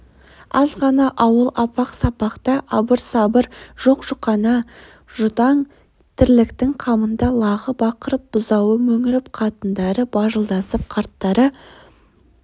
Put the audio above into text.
аз ғана ауыл апақ-сапақта абыр-сабыр жоқ-жұқана жұтаң тірліктің қамында лағы бақырып бұзауы мөңіреп қатындары бажылдасып қарттары